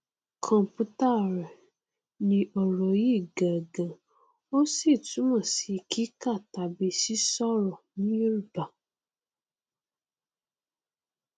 computare ni ọrọ yí gangan ó sì túmọ si kíkà tàbí sísírò ní yorùbá